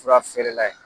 Fura feerela ye